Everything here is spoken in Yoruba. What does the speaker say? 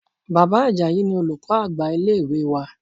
Bàbá Ajayi ni olùkọ́ àgbà ilé ìwé wa.